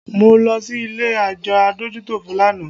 Mo lọ sí ilé àjọ adójútòfò lánàá